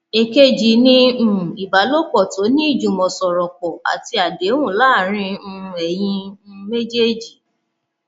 èkejì ní um ìbálòpọ tó ní ìjùmọsọrọpọ àti àdéhùn láàárín um ẹyin um méjèèjì